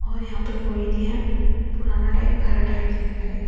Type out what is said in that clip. और यहां पे कोई नहीं हे पुराना टाइम खार टाइम दिखता हे।